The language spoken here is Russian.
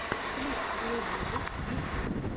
клип блогилэйтс в ютубе